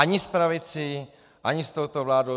Ani s pravicí, ani s touto vládou.